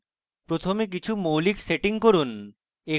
প্রথমে কিছু মৌলিক সেটিং করুন